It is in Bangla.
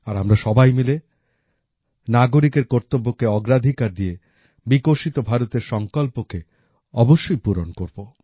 আর আমরা সবাই মিলে নাগরিকের কর্তব্যকে অগ্রাধিকার দিয়ে বিকশিত ভারতের সঙ্কল্পকে অবশ্যই পূরণ করব